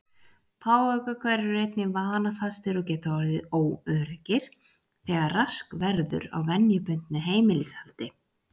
Páfagaukar eru einnig vanafastir og geta orðið óöruggir þegar rask verður á venjubundnu heimilishaldi.